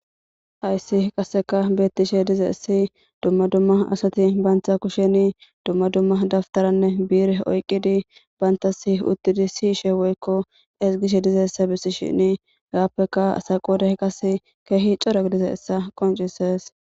Hayssi qasseka beetishe dizaysi, dumma dumma asati, banta kusheni dumma dumma dawutaranne bi'ire oyqidi bantasi si'ishe woyko ezgishe dizaysa gidishin,qasseka asa qooday keehippe daro gididaysa qonccisees.